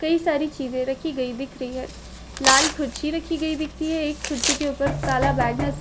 कई सारी चीजे रखी गई दिख रही है लाल कुर्सी रखी गई दिखती है एक कुर्सी के ऊपर काला बैग नस --